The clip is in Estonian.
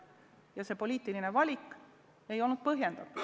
Miks selline poliitiline valik, ei põhjendatud.